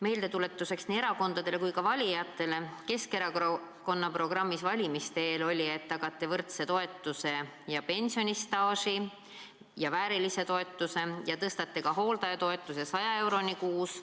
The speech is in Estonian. " Meeldetuletuseks nii erakondadele kui ka valijatele: Keskerakonna programmis oli valimiste eel, et tagate omastehooldajatele väärilise toetuse ja pensionistaaži ning tõstate hooldajatoetuse 100 euroni kuus.